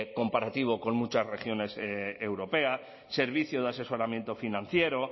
comparativo con muchas regiones europeas servicio de asesoramiento financiero